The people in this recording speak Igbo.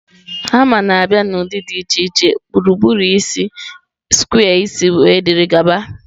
Hama na-abịa n'ụdị dị iche iche gburugburu isi, square isi wdg